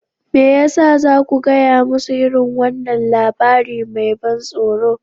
Me ya sa za ku gaya musu irin wannan labari mai ban tsoro?